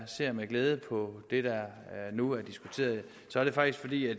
ser med glæde på det der nu er diskuteret så er det faktisk fordi jeg